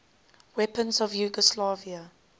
weapons of yugoslavia